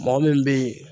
Mɔgɔ min bɛ ye